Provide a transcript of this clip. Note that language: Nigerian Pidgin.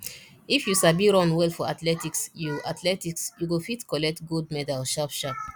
if you sabi run well for athletics you athletics you go fit collect gold medal sharp sharp